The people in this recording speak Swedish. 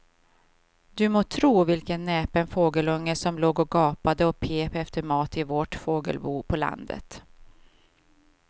Du må tro vilken näpen fågelunge som låg och gapade och pep efter mat i vårt fågelbo på landet.